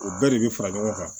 O bɛɛ de bɛ fara ɲɔgɔn kan